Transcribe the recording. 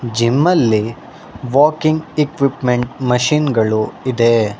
Gym ಅಲ್ಲಿ walking equipment machine ಗಳು ಇದೆ.